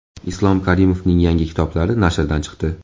Islom Karimovning yangi kitoblari nashrdan chiqdi.